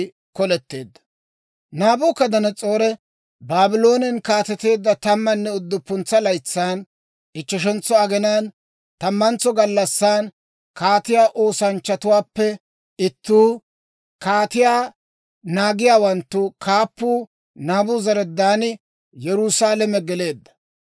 Naabukadanas'oori Baabloonen kaateteedda tammanne udduppuntsa laytsan, ichcheshentso aginaan, tammantso gallassan, kaatiyaa oosanchchatuwaappe ittuu, kaatiyaa naagiyaawanttu kaappuu Naabuzaradaani Yerusaalame geleedda.